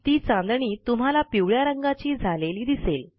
ती चांदणी तुम्हाला पिवळ्या रंगाची झालेली दिसेल